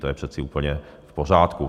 To je přece úplně v pořádku.